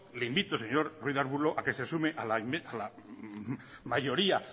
le invito señor ruiz de arbulo a que se sume a la mayoría